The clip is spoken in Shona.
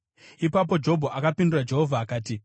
Ipapo Jobho akapindura Jehovha akati: